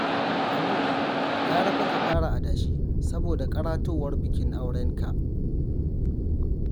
Habu, gara fa ka fara adashi, saboda ƙaratowar bikin aurenka